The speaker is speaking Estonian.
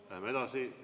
Läheme edasi.